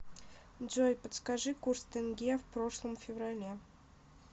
джой подскажи курс тенге в прошлом феврале